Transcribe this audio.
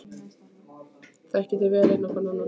Þekkið þið vel inn á hvorn annan?